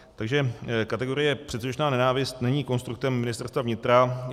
Takže kategorie předsudečná nenávist není konstruktem Ministerstva vnitra.